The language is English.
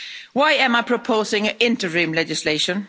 Why am I proposing interim legislation?